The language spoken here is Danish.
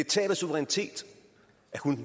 tab af suverænitet at hun